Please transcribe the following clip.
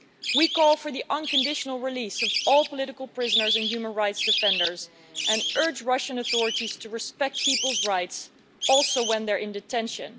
We call for the unconditional release of all political prisoners and human rights defenders and urge Russian authorities to respect people's rights, including when they're in detention.